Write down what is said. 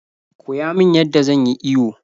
Koya min yadda zan yi iyo